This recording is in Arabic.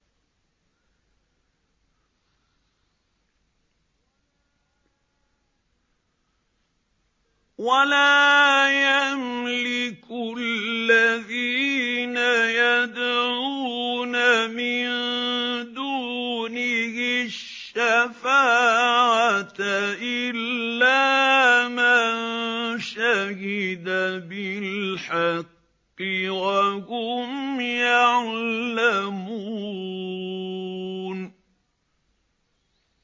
وَلَا يَمْلِكُ الَّذِينَ يَدْعُونَ مِن دُونِهِ الشَّفَاعَةَ إِلَّا مَن شَهِدَ بِالْحَقِّ وَهُمْ يَعْلَمُونَ